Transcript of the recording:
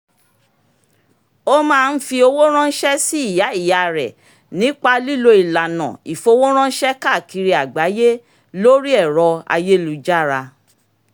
o máa ń fi owó ránṣẹ́ sí ìyá ìyá rẹ̀ nípa lílo ìlànà ìfowóránṣẹ́ káàkiri àgbáyé lórí ẹ̀ro ayélujára